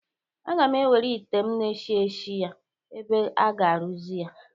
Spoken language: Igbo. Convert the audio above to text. Aga m ewere ite m na-eshị eshị ya ebe aga-arụzi ya